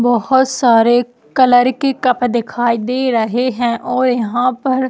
बहोत सारे कलर के कप रखे दिखाई दे रहे है और यहाँ पर--